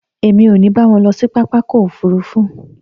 Èmi ò ní bá wọn lọ sí pápákọ̀ òfuurufú